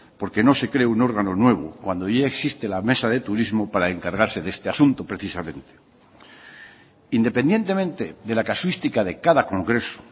porque no se cree un órgano nuevo cuando ya existe la mesa de turismo para encargarse de este asunto precisamente independientemente de la casuística de cada congreso